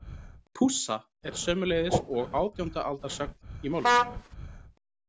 Pússa er sömuleiðis og átjánda aldar sögn í málinu.